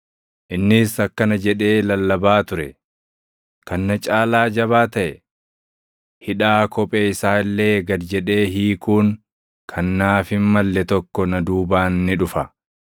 Innis akkana jedhee lallabaa ture; “Kan na caalaa jabaa taʼe, hidhaa kophee isaa illee gad jedhee hiikuun kan naaf hin malle tokko na duubaan ni dhufa.